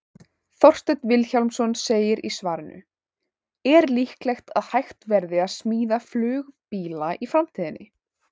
Þorsteinn Vilhjálmsson segir í svarinu Er líklegt að hægt verði að smíða flugbíla í framtíðinni?